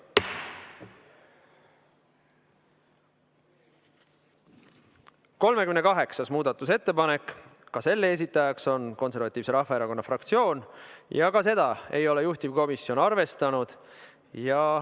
Ka 38. muudatusettepaneku esitaja on Eesti Konservatiivse Rahvaerakonna fraktsioon ja ka seda ei ole juhtivkomisjon arvestanud.